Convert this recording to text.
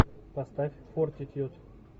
поставь фортитьюд